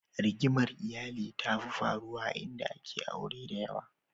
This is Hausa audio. Rigimar iyali tafi faruwa a inda ake aure da yawa.